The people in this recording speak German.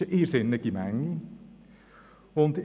Es ist eine irrsinnige Menge.